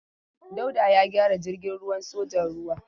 Dauda ya gyara jirgin ruwan sojan ruwa.